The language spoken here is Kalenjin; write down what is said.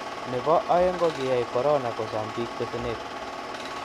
nebo oeng' ko kiyai korona kosom biik besenet